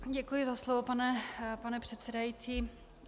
Děkuji za slovo, pane předsedající.